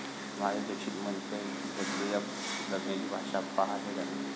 माधुरी दीक्षित म्हणतेय, बदलूया जगण्याची भाषा, पहा हे गाणं!